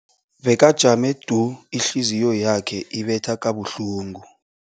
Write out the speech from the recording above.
Bekajame du, ihliziyo yakhe ibetha kabuhlungu.